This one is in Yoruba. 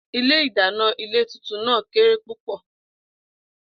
Ilé-ìdàná ilé tuntun náà kéré púpò̩